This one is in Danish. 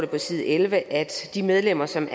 på side elleve at de medlemmer som